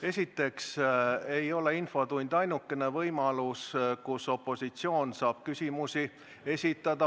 Esiteks ei ole infotund ainukene võimalus, kus opositsioon saab küsimusi esitada.